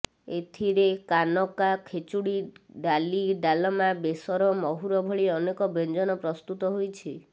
ଏଥିରେ କାନକା ଖେଚୁଡ଼ି ଡାଲି ଡାଲମା ବେସର ମହୁର ଭଳି ଅନେକ ବ୍ୟଞ୍ଜନ ପ୍ରସ୍ତୁତ ହୋଇଛି